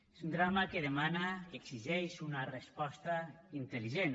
és un drama que demana que exigeix una resposta intel·ligent